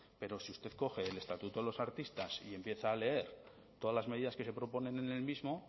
pero si usted coge el estatuto de los artistas y empieza a leer todas las medidas que se proponen en el mismo